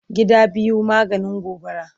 Gida biyu maganin gobara.